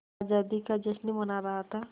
आज़ादी का जश्न मना रहा था